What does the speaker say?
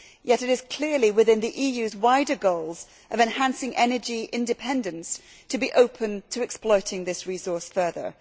Yet it is clearly within the EU's wider goals of enhancing energy independence to be open to exploiting this resource further.